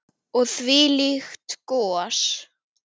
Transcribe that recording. Og þvílíkt gos.